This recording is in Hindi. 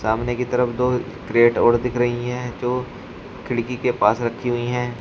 सामने की तरफ दो क्रेट और दिख रही है जो खिड़की के पास रखी हुई है।